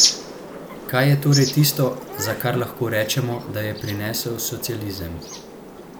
Kaj je torej tisto, za kar lahko rečemo, da je prinesel socializem?